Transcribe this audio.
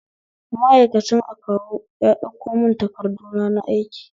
Ma'aikacin akawu ya ɗauko mun takarduna na aiki